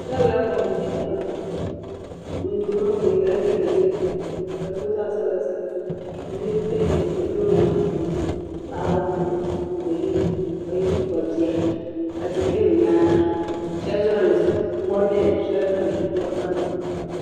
M ba abɛlaai ko m bɛ nyɛ daŋa. ŋun duhirili maa yela liiga yelɔw. ka di boo zaɣi sabila sabila. niribi kpe n ʒi lɔɔri maa ni paɣiba anu ni do yinɔ, ka yinɔ Kpabi biya. ka tihi be bɛ nyaaŋa shabi zuɣuni mɔri beni. shabi zuɣuni mɔri kani.